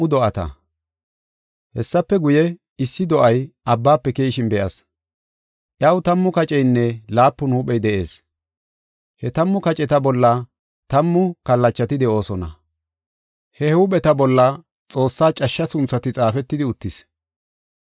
Hessafe guye, issi do7ay abbaafe keyishin be7as. Iyaw tammu kaceynne laapun huuphey de7ees. He tammu kaceta bolla tammu kallachati de7oosona. He huupheta bolla Xoossaa cashsha sunthati xaafetidi uttis.